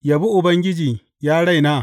Yabi Ubangiji, ya raina.